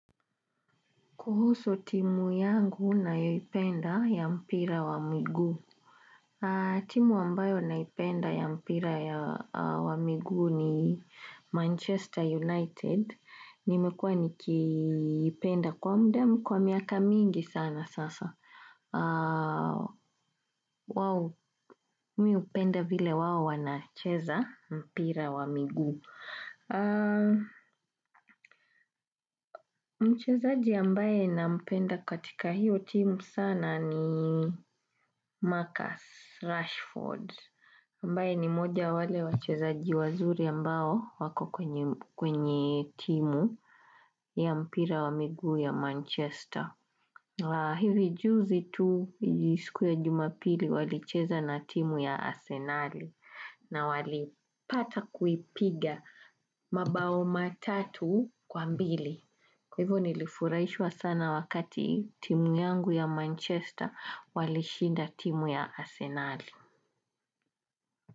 Kuhusu timu yangu na ipenda ya mpira wa mguu. Timu ambayo na ipenda ya mpira wa miguu ni Manchester United. Nimekuwa nikipenda kwa mda kwa miaka mingi sana sasa. Wao, miupenda vile wao wanacheza mpira wa miguu. Mchezaji ambaye na mpenda katika hiyo timu sana ni Marcus Rashford Mbae ni moja wale wachezaji wazuri ambao wako kwenye timu ya mpira wa miguu ya Manchester la hivi juzi tu jisiku ya jumapili wali cheza na timu ya Asenari na wali pata kuipiga mabao matatu kwa mbili Kwa hivyo nilifurahishwa sana wakati timu yangu ya Manchester walishinda timu ya Arsenal.